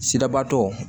Sirabatɔ